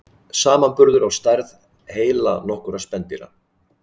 Samanburður á stærð heila nokkurra spendýra.